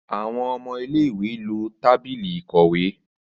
Àwọn ọmọ ilé-ìwé lo tábìlì ìkọ̀wé